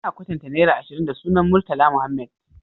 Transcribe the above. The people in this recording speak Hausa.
Ana kwatanta naira ashirin da sunan murtala muhammed